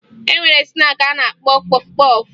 E nwere snaakị a na-akpọ kpọfụ kpọfụ